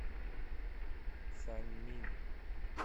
саньмин